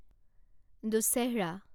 দুচ্ছেহৰা